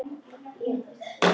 Grunar hann mig?